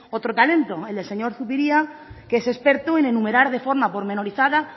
otro talento el del señor zupiria que es experto en enumerar de forma pormenorizada